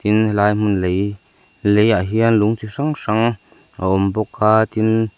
tin helai hmun lei leiah hian lung chi hrang hrang a awm bawk a tin--